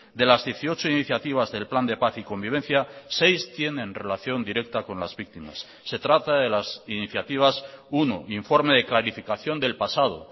de las dieciocho iniciativas del plan de paz y convivencia seis tienen relación directa con las víctimas se trata de las iniciativas uno informe de clarificación del pasado